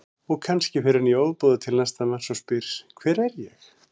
Og kannski fer hann í ofboði til næsta manns og spyr Hver er ég?